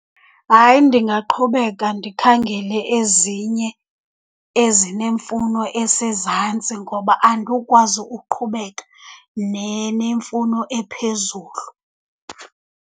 Hayi, ndingaqhubeka ndikhangele ezinye ezinemfuno esezantsi ngoba andukwazi uqhubeka nenemfuno ephezulu.